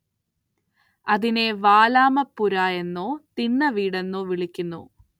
അതിനെ വാലാമപ്പുര എന്നോ തിണ്ണവീടെന്നോ വിളിക്കുന്നു.